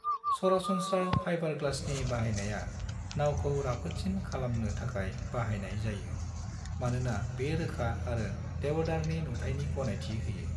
सरासनस्रा फाइबरग्लासनि बाहायनाया नावखौ राफोदसिन खालामनो थाखाय बाहायनाय जायो; मानोना बे रोखा आरो देवदारनि नुथाइनि गनायथि होयो।